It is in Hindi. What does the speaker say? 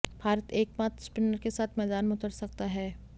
भारत एकमात्र स्पिनर के साथ मैदान में उतर सकता है